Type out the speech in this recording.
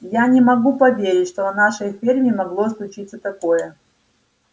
я не могу поверить что на нашей ферме могло случиться такое